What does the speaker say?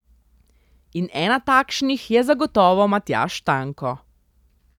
In ena takšnih je zagotovo Matjaž Tanko.